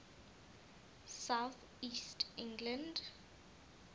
south east england